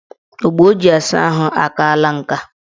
Ogbo o ji asa ahụ akaala nka.